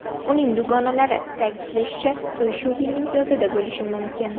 Uning dugonalari ta’kidlashicha, to‘y shu yilning yozida bo‘lishi mumkin.